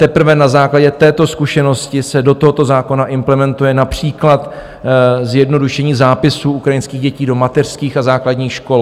Teprve na základě této zkušenosti se do tohoto zákona implementuje například zjednodušení zápisů ukrajinských dětí do mateřských a základních škol.